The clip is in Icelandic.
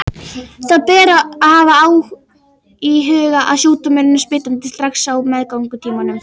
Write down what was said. Það ber að hafa í huga að sjúkdómurinn er smitandi strax á meðgöngutímanum.